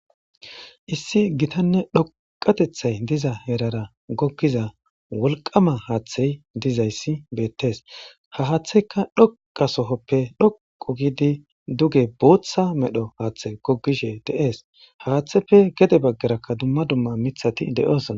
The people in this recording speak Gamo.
Issi gitanne dhoqatethay diza herara goggiza wolqama haaththay dizayssi beettes ha haaththeyka dhoqa sohoppe dhoqu gidi duge bootha medho haaththe gogishe de7ees haaththeppe gede baggaraka dumma dumma mithati de7oosna.